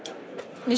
Nous